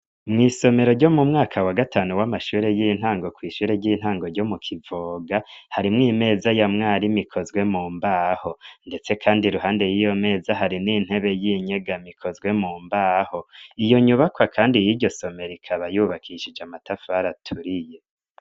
Mw'isomero ryo mu mwaka wa gatanu w'amashure y'intango kw'ishure ry'intango ryo mu Kivoga harimwo imeza ya mwarimu ikozwe mu mbaho, ndetse kandi iruhande y'iyo meza hari n'intebe y'inyegamo ikozwe mu mbaho, iyo nyubakwa kandi y'iryo somero ikaba yubakishije amatafari aturiye.